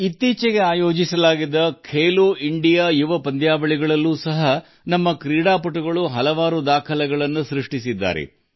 ಇತ್ತೀಚೆಗೆ ನಡೆದ Khelo India youth games ನಲ್ಲೂ ನಮ್ಮ ಆಟಗಾರರು ಹಲವು ದಾಖಲೆಗಳನ್ನು ನಿರ್ಮಿಸಿದ್ದಾರೆ